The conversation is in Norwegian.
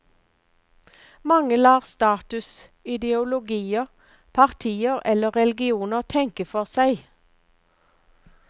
Mange lar status, ideologier, partier eller religioner tenke for seg.